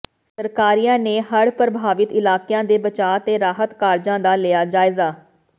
ਸਰਕਾਰੀਆ ਨੇ ਹੜ੍ਹ ਪ੍ਰਭਾਵਿਤ ਇਲਾਕਿਆਂ ਦੇ ਬਚਾਅ ਤੇ ਰਾਹਤ ਕਾਰਜਾਂ ਦਾ ਲਿਆ ਜਾਇਜ਼ਾ